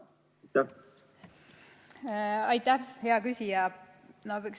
Aitäh, hea küsija!